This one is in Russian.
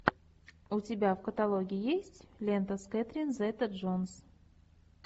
у тебя в каталоге есть лента с кэтрин зета джонс